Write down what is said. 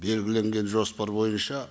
белгіленген жоспар бойынша